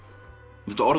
þetta orð